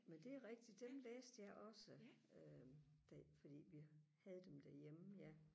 men det er rigtigt dem læste jeg også øh det er ikke fordi vi havde dem derhjemme ja